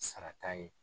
Sara t'a ye